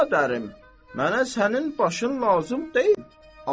Bəradərim, mənə sənin başın lazım deyil.